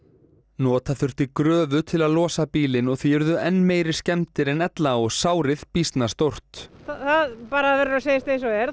nota þurfti gröfu til að losa bílinn og því urðu enn meiri skemmdir en ella og sárið býsna stórt það bara verður að segjast eins og er